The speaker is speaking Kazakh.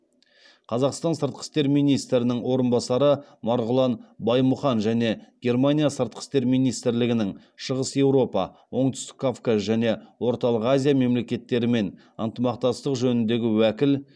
қазақстан сыртқы істер министрінің орынбасары марғұлан баймұхан және германия сыртқы істер министрлігінің шығыс еуропа оңтүстік кавказ және орталық азия мемлекеттерімен ынтымақтастық жөніндегі уәкіл